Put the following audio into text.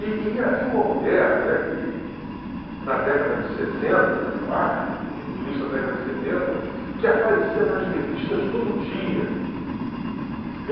E e e havia uma mulher, né, que, na década de sessenta, eu acho, ou no início da década de setenta, que aparecia nas revistas todo dia.